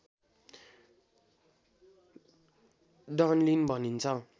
Dunlin भनिन्छ